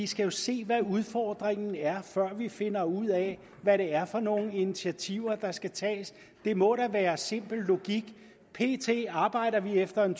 skal se hvad udfordringen er før vi finder ud af hvad det er for nogle initiativer der skal tages det må da være simpel logik pt arbejder vi efter en